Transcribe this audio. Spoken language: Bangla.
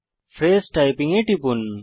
ফ্রেজ টাইপিং এ টিপুন